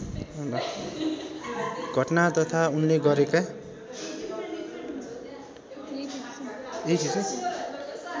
घटना तथा उनले गरेका